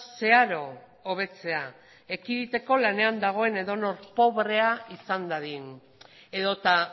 zeharo hobetzea ekiditeko lanean dagoen edonor pobrea izan dadin edota